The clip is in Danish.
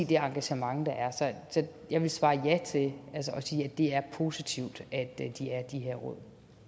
det engagement der er så jeg vil svare ja og sige at det er positivt at de her råd